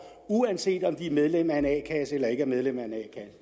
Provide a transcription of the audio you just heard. uanset om de er medlem af en a kasse eller ikke er medlem af en